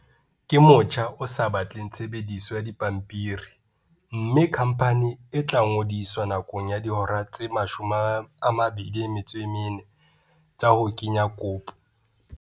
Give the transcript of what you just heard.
Ke motjha o sa batleng tshebediso ya dipampiri mme khamphani e tla ngodiswa nakong ya dihora tse 24 tsa ho kenya kopo.